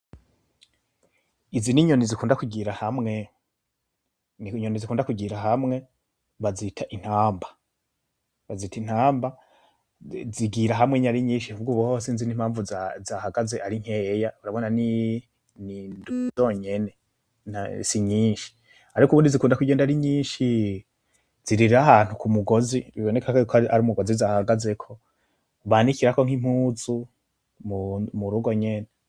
Izi ni nyoni zikunda kugira hamwe, ni nyoni zikunda kugira hamwe bazita intaba, bazita intaba zigira hamwe ari nyinshi ahubwo ubuhoho sinzi n'impavu zahagaze ari nkeya, urabona ni n'indwi zonyene si nyinshi, ariko ubundi zikunda kugenda ari nyishi, zirira ahantu kumugozi biboneka ko ari umugozi zahagazeko, banikirako nkimpuzu mu murugo nyene.